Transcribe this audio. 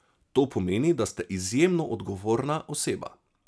To pomeni, da ste izjemno odgovorna oseba.